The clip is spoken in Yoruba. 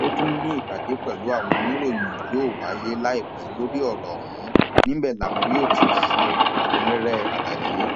ó tún ní ìpàdé pẹlú àwọn oníròyìn yóò wáyé láìpẹ lórí ọrọ ọhún níbẹ làwọn yóò ti ṣe ẹkúnrẹrẹ àlàyé